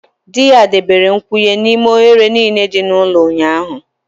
Di ya debere nkwụnye n'ime oghere niile dị n'ụlọ ụnyaahụ